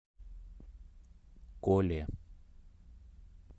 коле